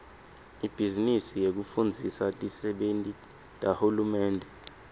ibhizinisi yekufundzisa tisebenti tahulumende